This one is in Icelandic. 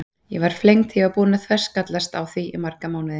Ég var flengd þegar ég var búin að þverskallast við því í marga mánuði.